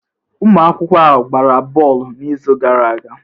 Ụmụ akwụkwọ a ọ gbara bọọlụ n'izu gara aga?